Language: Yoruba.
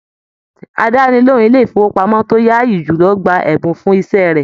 Àdánilohùn ilé ifowopamọ to yaayi jùlọ gbà ẹbùn fún iṣẹ rẹ.